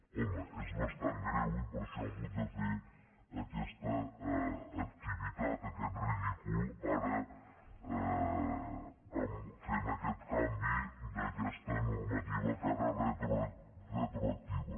home és bastant greu i per això han hagut de fer aquesta activitat aquest ridícul ara fent aquest canvi d’aquesta normativa que ara és retroactiva